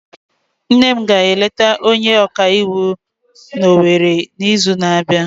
Nne m ga-eleta onye ọka iwu n'Owere n'izu na-abịa.